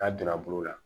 K'a donna bolo la